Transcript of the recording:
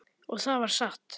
Og það var satt.